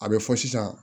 A bɛ fɔ sisan